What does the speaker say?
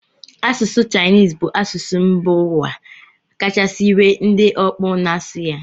Asụsụ Chinese bụ asụsụ mba ụwa kachasị nwee ndị ọkpụ na-asụ ya